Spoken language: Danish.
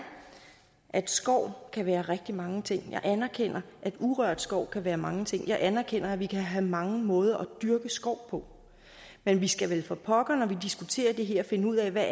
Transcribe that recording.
at skov kan være rigtig mange ting jeg anerkender at urørt skov kan være mange ting jeg anerkender at vi kan have mange måder at dyrke skov på men vi skal vel for pokker når vi diskuterer det her finde ud af hvad